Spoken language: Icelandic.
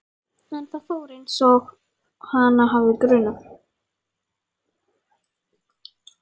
En það fór einsog hana hafði grunað.